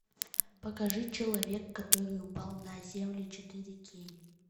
покажи человек который упал на землю четыре кей